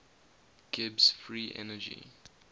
gibbs free energy